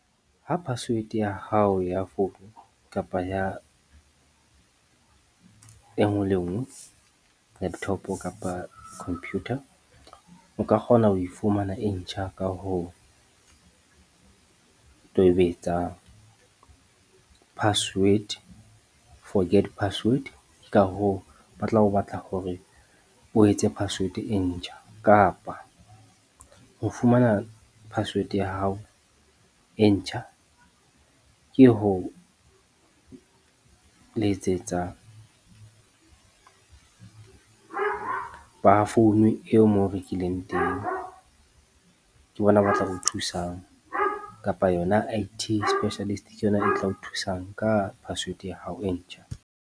Ha password ya hao ya founu kapa e nngwe le nngwe, laptop kapa khomphutha o ka kgona ho e fumana e ntjha ka ho tobetsa forget password. Ka hoo ba tla o batla hore o etse password e ntjha kapa ho fumana password ya hao e ntjha, ke ho letsetsa ba founu eo moo o rekileng teng. Ke bona ba tla o thusang kapa yona IT Specialist ke yona e tla o thusang ka password ya hao e ntjha.